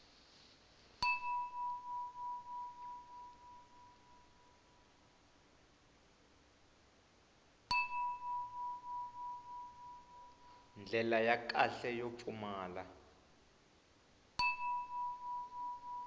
ndlela ya kahle yo pfumala